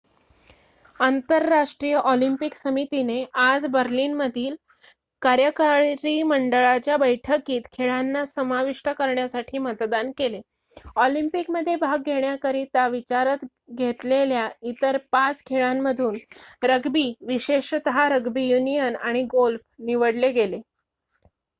आंतरराष्ट्रीय ऑलिम्पिक समितीने आज बर्लिनमधील कार्यकारी मंडळाच्या बैठकीत खेळांना समाविष्ट करण्यासाठी मतदान केले ऑलिम्पिकमध्ये भाग घेण्याकरिता विचारत घेतलेल्या इतर 5 खेळांमधून रग्बी विशेषतः रग्बी युनियन आणि गोल्फ निवडले गेले